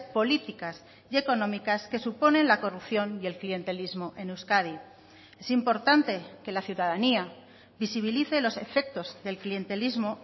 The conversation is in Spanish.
políticas y económicas que suponen la corrupción y el clientelismo en euskadi es importante que la ciudadanía visibilice los efectos del clientelismo